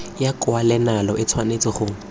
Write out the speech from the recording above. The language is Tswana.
ya kwalelano e tshwanetse go